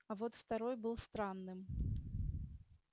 а вот второй был странным